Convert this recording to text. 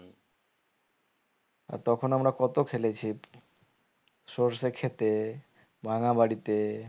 আর তখন আমরা কত খেলেছি সরষে ক্ষেতে ভাঙা বাড়িতে